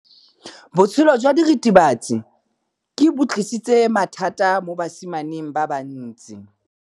Botshelo jwa diritibatsi ke bo tlisitse mathata mo basimaneng ba bantsi.